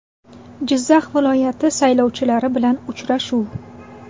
Jizzax viloyati saylovchilari bilan uchrashuv.